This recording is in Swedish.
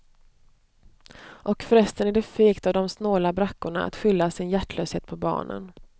Och förresten är det fegt av de snåla brackorna att skylla sin hjärtlöshet på barnen.